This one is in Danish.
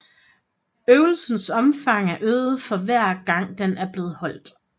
Øvelsens omfang er øget for hver gang den er blevet holdt